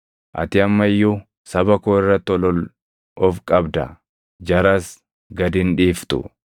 Ati amma iyyuu saba koo irratti ol ol of qabda; jaras gad hin dhiiftu.